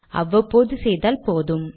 அவ்வப்போது செய்தால் போதும்